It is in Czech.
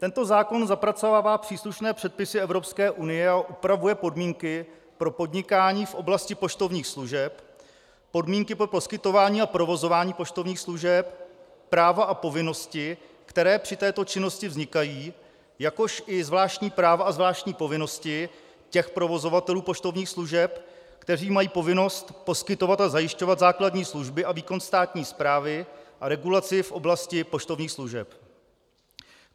Tento zákon zapracovává příslušné předpisy Evropské unie a upravuje podmínky pro podnikání v oblasti poštovních služeb, podmínky pro poskytování a provozování poštovních služeb, práva a povinnosti, které při této činnosti vznikají, jakož i zvláštní práva a zvláštní povinnosti těch provozovatelů poštovních služeb, kteří mají povinnost poskytovat a zajišťovat základní služby a výkon státní správy a regulaci v oblasti poštovních služeb.